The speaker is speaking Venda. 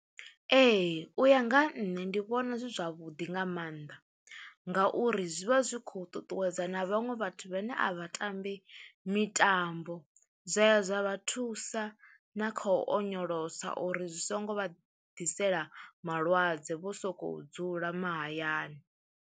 Ee u ya nga ha nṋe ndi vhona zwi zwavhuḓi nga maanḓa, ngauri zwi vha zwi kho ṱuṱuwedza na vhaṅwe vhathu vhane a vha tambi mitambo zwa ya zwa vha thusa na kha u onyolosa uri zwi songo vha ḓisela malwadze vho sokou dzula mahayani.